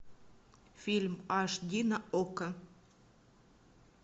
фильм аш ди на окко